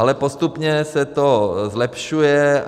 Ale postupně se to zlepšuje.